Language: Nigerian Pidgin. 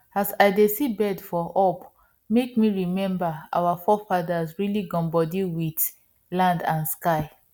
as i dey see birds for up make me remember our forefathers really gum body wit land and sky